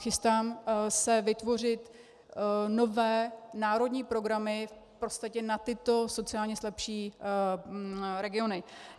Chystám se vytvořit nové národní programy v podstatě na tyto sociálně slabší regiony.